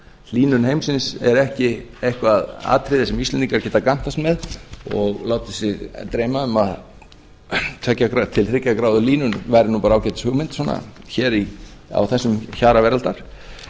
hlýnun heimsins er ekki eitthvað atriði sem íslendingar geta gantast með og látið sig dreyma um að tveggja til þriggja gráðu hlýnun væri nú bara ágætis hugmynd hér á þessum hjara veraldar